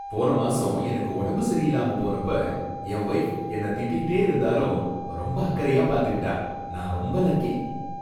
போன மாசம் எனக்கு உடம்பு சரியில்லாம போனப்ப என் வொய்ஃப் என்னை திட்டிகிட்டே இருந்தாலும் ரொம்ப அக்கறையா பாத்துக்கிட்டா, நான் ரொம்ப லக்கி